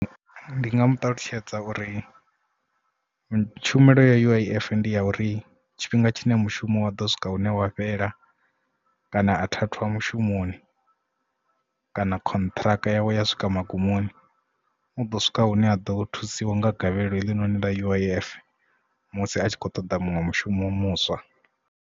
Ndi nga mu ṱalutshedza uri tshumelo ya U_I_F ndi ya uri tshifhinga tshine mushumo wa ḓo swika hune wa fhela kana a thathwa mushumoni kana contract yawe ya swika magumoni u ḓo swika hune a ḓo thusiwa nga gavhelo heḽi noni ḽa U_I_F musi a tshi kho ṱoḓa muṅwe mushumo muswa.